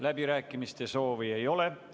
Läbirääkimiste soovi ei ole.